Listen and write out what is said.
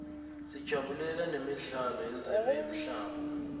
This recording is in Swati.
sajabulela nemidlalo yendzebe yemhlaba